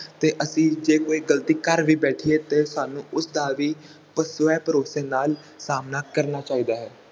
ਤੇ ਅਸੀਂ ਜੇ ਕੋਈ ਗਲਤੀ ਕਰ ਵੀ ਬੈਠੀਏ ਤਾ ਸਾਨੂੰ ਉਸਦਾ ਵੀ ਸਵੈ ਭਰੋਸੇ ਨਾਲ ਸਾਮਣਾ ਕਰਨਾ ਚਾਹੀਦਾ ਹੈ